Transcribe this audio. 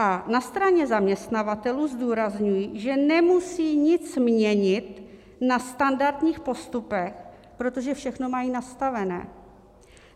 A na straně zaměstnavatelů zdůrazňuji, že nemusí nic měnit na standardních postupech, protože všechno mají nastavené.